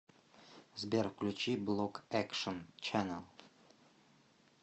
сбер включи блок экшен ченнэл